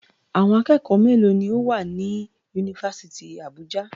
Àwọn akẹ́kọ̀ọ́ mélòó ni ó wà ní Yunifásítì Àbújá?